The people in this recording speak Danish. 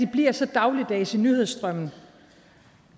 bliver så dagligdags i nyhedsstrømmen